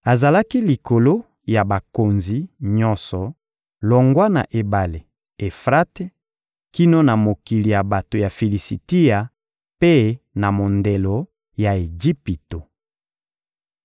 Azalaki likolo ya bakonzi nyonso, longwa na Ebale (Efrate) kino na mokili ya bato ya Filisitia mpe na mondelo ya Ejipito.